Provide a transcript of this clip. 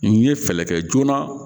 N ye fɛɛrɛ kɛ joona